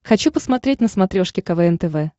хочу посмотреть на смотрешке квн тв